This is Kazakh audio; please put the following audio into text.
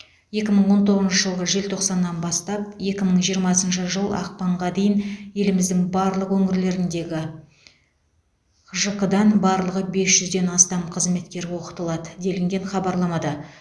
екі мың он тоғызыншы жылғы желтоқсаннан бастап екі мың жиырмасыншы жыл ақпанға дейін еліміздің барлық өңірлеріндегі хжқ дан барлығы бес жүзден астам қызметкер оқытылады делінген хабарламада